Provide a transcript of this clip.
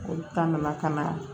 Olu ta nana ka na